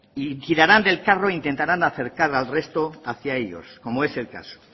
y tirarán del carro e intentarán acercar al resto hacia ellos como es el caso